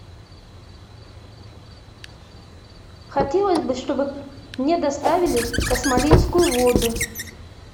хотелось бы чтобы мне доставили космолинскую воду